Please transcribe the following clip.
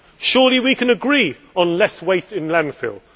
Surely we can agree on less waste in landfill.